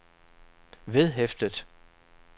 vedhæftet